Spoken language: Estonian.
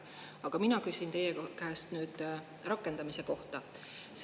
Aga mina küsin teie käest nüüd rakendamise kohta.